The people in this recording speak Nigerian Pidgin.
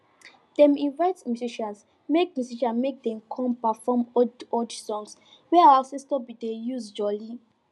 dem invite musicians make musicians make dem come perform old old songs wey our ancestors bin dey use jolly